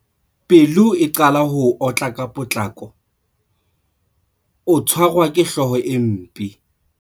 Pelo e qala ho otla ka potlako. Ho tshwarwa ke hlooho e mpe.